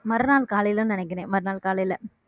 மறுநாள் காலையிலன்னு நினைக்கிறேன் மறுநாள் காலையில